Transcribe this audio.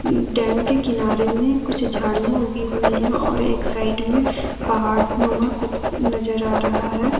उम्मं dam के किनारे में कुछ झाड़ियां उगी हुई है और एक साइड में पहाड़ नुमा कुछ नजर आ रहा है।